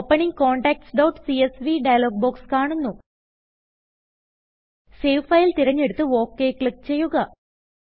opening contactsസിഎസ്വി dialog box save file തിരഞ്ഞെടുത്ത് OK click ചെയ്യുക